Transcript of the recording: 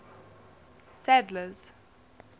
sadler's